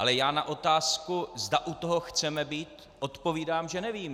Ale já na otázku, zda u toho chceme být, odpovídám, že nevím.